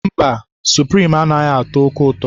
Mba, suprim anaghị atọ oke ụtọ.